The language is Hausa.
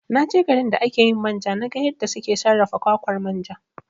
Na je garin da ake yin manja na ga yadda suke sarrafa kwakwar manja